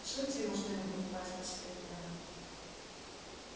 всуньте ему что-нибудь в пасть посоветовал мэтт